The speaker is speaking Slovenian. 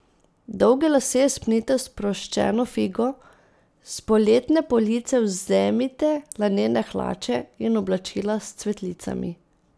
Dolge lase spnite v sproščeno figo, s poletne police vzemite lanene hlače in oblačila s cvetlicami.